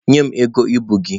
Nye m ego ibu gị!